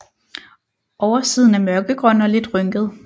Oversiden er mørkegrøn og lidt rynket